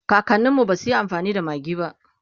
kakaninmu basuyi amfani da maggi ba